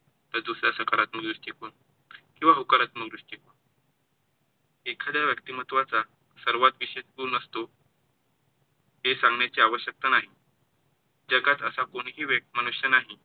तर दुसरा सकारात्मक दृष्टीकोण किंवा होकारात्मक दृष्टिकोन. एख्यादा व्यक्तिमत्वाचा सर्वात विशेष गुण असतो हे सांगण्याची आवश्यकता नाही. जगात असा कोणीही मनुष्य नाही,